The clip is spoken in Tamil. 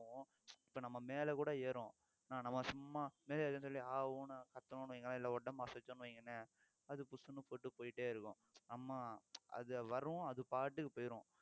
இப்ப நம்ம மேல கூட ஏறும் ஆனா நம்ம சும்மா மேலே ஏறுதுன்னு சொல்லி ஆ ஊ ன்னு கத்தணும்னு வைங்களேன் இல்லை உடம்பு அசைச்சோம்னு வைங்களேன் அது புஸ்ன்னு போட்டு போயிட்டேயிருக்கும் அம்மா அது வரும் அது பாட்டுக்கு போயிரும்